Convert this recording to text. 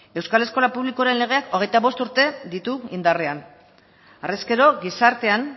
euskal eskola publikoaren legeak hogeita bost urte ditu indarrean harrezkero gizartean